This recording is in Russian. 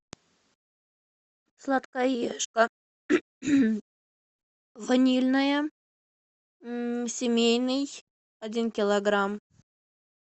сладкоежка ванильное семейный один килограмм